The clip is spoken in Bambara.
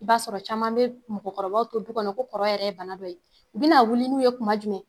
I b'a sɔrɔ caman be mɔgɔkɔrɔbaw to du kɔnɔ ko kɔrɔ yɛrɛ bana dɔ ye. U bɛna wuli n'u ye tuma jumɛn?